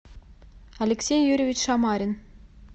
алексей юрьевич шамарин